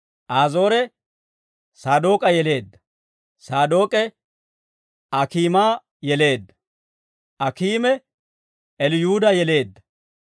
Azoore Saadook'a yeleedda; Saadook'e, Akiima yeleedda; Akiime Eliyuuda yeleedda.